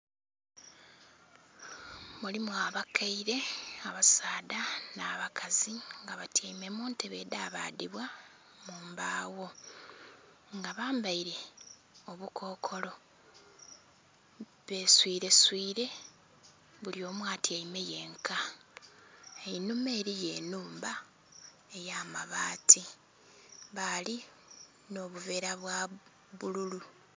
Mulimu abakaire abasaadha n'abakazi nga batyaime muntebe edhabadhibwa munbawo nga bambaire obukokolo baswireswire bulyomu atyaime yenka einhuma eriyo enhumba ey'amabaati bali n'obuvera bwabbululu.